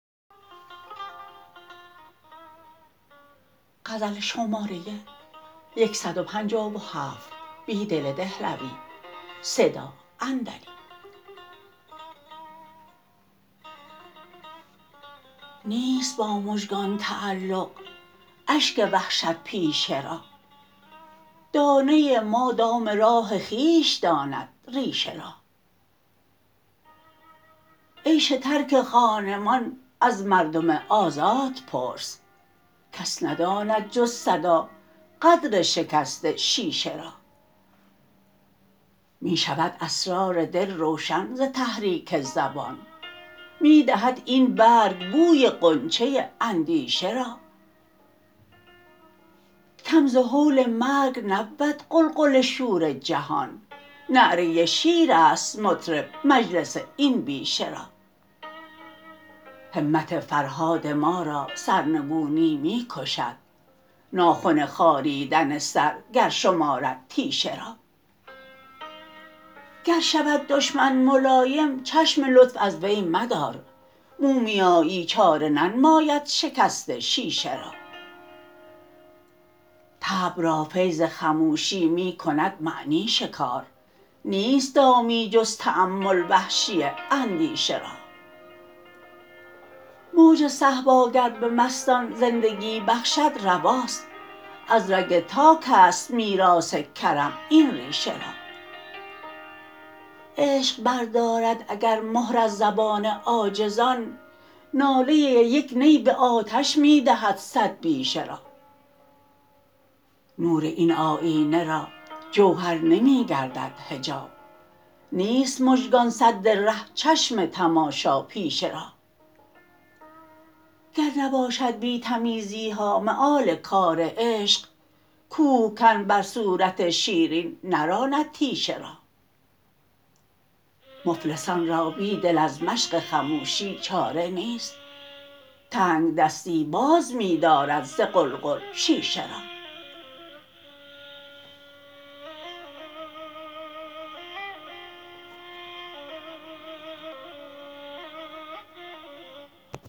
نیست با مژگان تعلق اشک وحشت پیشه را دانه ما دام راه خویش داند ریشه را عیش ترک خانمان از مردم آزاد پرس کس نداند جز صدا قدر شکست شیشه را می شود اسرار دل روشن ز تحریک زبان می دهد این برگ بوی غنچه اندیشه را کم ز هول مرگ نبود غلغل شور جهان نعره شیر است مطرب مجلس این بیشه را همت فرهاد ما را سرنگونی می کشد ناخن خاریدن سر گر شمارد تیشه را گر شود دشمن ملایم چشم لطف از وی مدار مومیایی چاره ننماید شکست شیشه را طبع را فیض خموشی می کند معنی شکار نیست دامی جز تأمل وحشی اندیشه را موج صهبا گر به مستان زندگی بخشد رواست از رگ تاک است میراث کرم این ریشه را عشق بردارد اگر مهر از زبان عاجزان ناله یک نی به آتش می دهد صد بیشه را نور این آیینه را جوهر نمی گردد حجاب نیست مژگان سد ره چشم تماشاپیشه را گر نباشد بی تمیزی ها مآل کار عشق کوهکن بر صورت شیرین نراند تیشه را مفلسان را بیدل از مشق خموشی چاره نیست تنگ دستی باز می دارد ز قلقل شیشه را